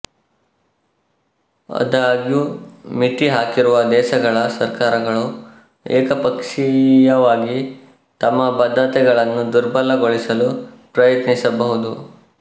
ಆದಾಗ್ಯೂ ಮಿತಿ ಹಾಕಿರುವ ದೇಶಗಳ ಸರ್ಕಾರಗಳು ಏಕಪಕ್ಷೀಯವಾಗಿ ತಮ್ಮ ಬದ್ಧತೆಗಳನ್ನು ದುರ್ಬಲಗೊಳಿಸಲು ಪ್ರಯತ್ನಿಸಬಹುದು